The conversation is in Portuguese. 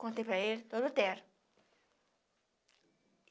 Contei para ele, doutor Lutero